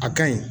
A kaɲi